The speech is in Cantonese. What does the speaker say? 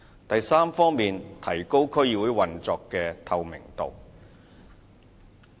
第三，提高區議會運作的透明度。